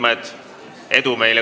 Hoidkem Eestit!